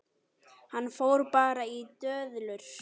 Hann fór bara í döðlur!